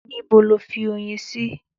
Níbo lo fi oyin sí?